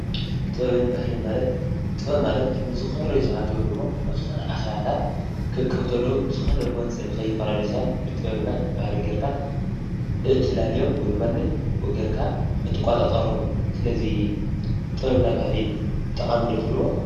ጥበብን ባህልን ማለት ጥበብ ማለት ንዝኮረዩ ሰባት ወይ አኬባታት ክእከቡ ከለው ብዝኮነ ጎንፂ ሰባት ንከይፈላለዩ ብጥበብና ብባህሊ ጌርካ እትፈላልዮም ወይ ድማ እትቆፃፀሮም እዮ፡፡ ስለዚ ጥበብና ባህሊ ጠቃሚ እዩ ዶ ትብልዎ?